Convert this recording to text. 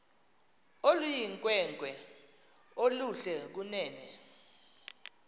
oluyinkwenkwe oluhle kunene